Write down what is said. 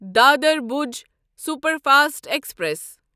Dadar Bhuj superfast express